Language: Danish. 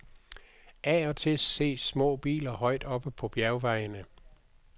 Af og til ses små biler højt oppe på bjergvejene.